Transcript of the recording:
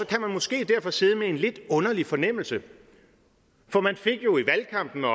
kan man måske derfor sidde med en lidt underlig fornemmelse for man fik jo i valgkampen og